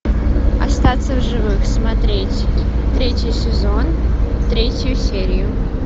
остаться в живых смотреть третий сезон третью серию